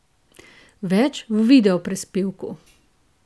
Več v videoprispevku!